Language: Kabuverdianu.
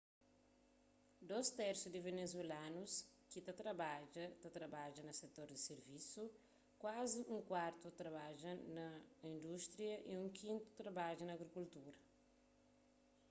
dôs tersu di venezuelanus ki ta trabadja ta trabadja na setor di sirvisu kuazi un kuartu ta trabadja na indústria y un kintu ta trabadja na agrikultura